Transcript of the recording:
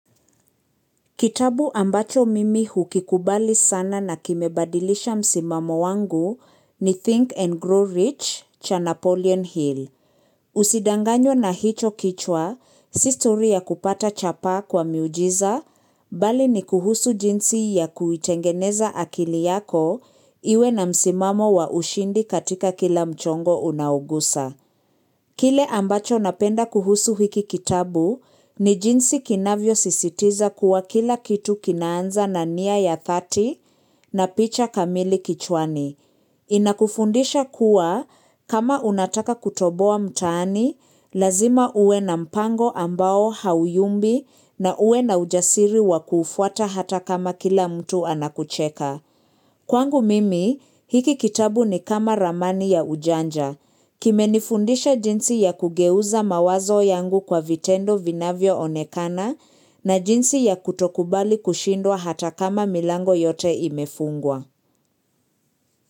Kitabu ambacho mimi hukikubali sana na kimebadilisha msimamo wangu ni Think and Grow Rich cha Napoleon Hill. Usidanganywe na hicho kichwa, si stori ya kupata chapa kwa miujiza, bali ni kuhusu jinsi ya kuitengeneza akili yako iwe na msimamo wa ushindi katika kila mchongo unaogusa. Kile ambacho napenda kuhusu hiki kitabu ni jinsi kinavyosisitiza kuwa kila kitu kinaanza na nia ya dhati na picha kamili kichwani. Inakufundisha kuwa kama unataka kutoboa mtaani, lazima uwe na mpango ambao hauyumbi na uwe na ujasiri wa kufuata hata kama kila mtu anakucheka. Kwangu mimi, hiki kitabu ni kama ramani ya ujanja. Kimenifundisha jinsi ya kugeuza mawazo yangu kwa vitendo vinavyoonekana na jinsi ya kutokubali kushindwa hata kama milango yote imefungwa.